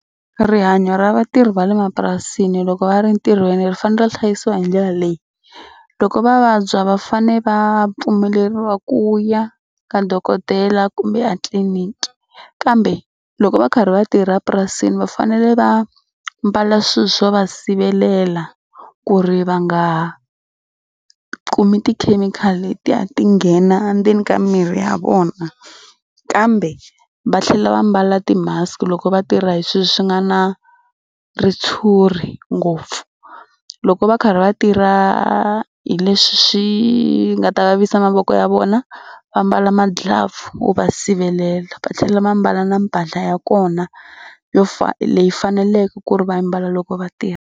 Rihanyo ra vatirhi va le mapurasini loko va ri ntirhweni ri fanele ri hlayisiwa hi ndlela leyi. Loko va vabya va fane va pfumeleriwa ku ya ka dokodela kumbe a tliniki kambe loko va karhi va tirha purasini va fanele va mbala swilo swo va sivelela ku ri va nga kumi tikhemikhali letiya ti nghena endzeni ka mirhi ya vona kambe va tlhela va mbala ti-mask loko va tirha hi swilo swi nga na ritshuri ngopfu. Loko va karhi va tirha hi leswi swi nga ta vavisa mavoko ya vona va mbala ma-glove wo va sivelela. Va tlhela va mbala na mbala ya kona yo leyi faneleke ku ri va yi ambala loko va tirha.